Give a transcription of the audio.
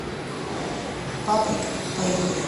паприка поехали